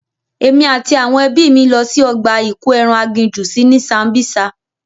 Èmi àti àwọn ẹbí mi lọ sí ọgbà ìkóeran agijù sí ní Sambisa.